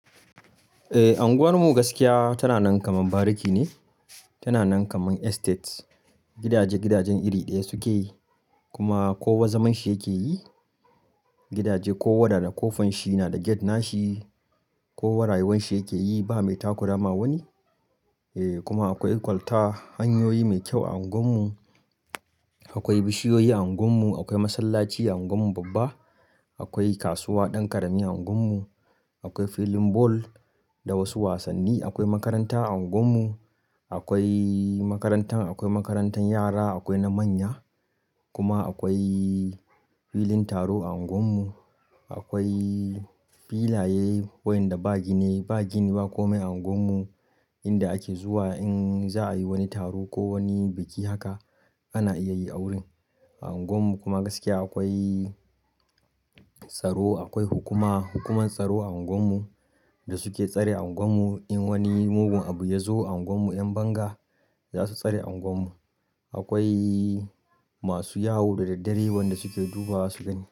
Eh, unguwar mu gaskiya tana nan kaman bariki ne, tana nan kaman estate. Gidaje, gidajen iri ɗaya suke yi kuma kowa zaman shi yake yi. Gidaje kowa da da kofan shi, na da gate nashi, kowa rayuwan shi yake yi ba mai takurama wani. Eh kuma akwai kwalta hanyoyi mai kyau a unguwar mu. Akwai bishiyoyi a unguwar mu, akwai masallaci a unguwar mu babba, akwai kasuwa ɗan ƙarami a unguwar mu, akwai fillin ball da wasu wasanni. Akwai makaranta a unguwar mu, akwai makarantar, akwai makarantan yara akwai na manya. Kuma akwai filin taro a unguwar mu, akwai filaye wayanda ba gini, ba gini ba komai a unguwar mu inda ake zuwa in za a yi wani taro ko wani biki haka ana iya yin a wurin. A unguwar mu kuma gaskiya akwai tsaro, akwai hukuma, hukumar tsaro a unguwar mu da suke tsare unguwar mu. In wani mugun abu ya zo a unguwar mu 'yan banga za su tsare unguwar mu. Akwai masu yawo da daddare wanda suke duba wasu gani.